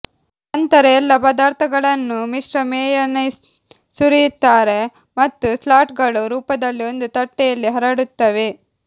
ನಂತರ ಎಲ್ಲಾ ಪದಾರ್ಥಗಳನ್ನು ಮಿಶ್ರ ಮೇಯನೇಸ್ ಸುರಿಯುತ್ತಾರೆ ಮತ್ತು ಸ್ಲಾಟ್ಗಳು ರೂಪದಲ್ಲಿ ಒಂದು ತಟ್ಟೆಯಲ್ಲಿ ಹರಡುತ್ತವೆ